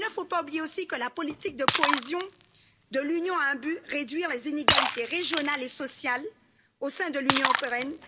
Il ne faut pas oublier non plus que la politique de cohésion de l'Union a un but réduire les inégalités régionales et sociales au sein de l'Union européenne.